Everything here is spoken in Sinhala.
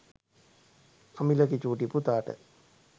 අමිලගේ චුටි පුතාට